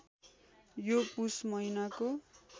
यो पुस महिनाको